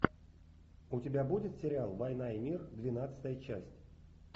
у тебя будет сериал война и мир двенадцатая часть